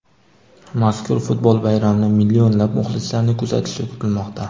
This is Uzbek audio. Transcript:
Mazkur futbol bayramini millionlab muxlislarning kuzatishi kutilmoqda.